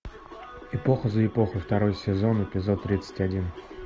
эпоха за эпохой второй сезон эпизод тридцать один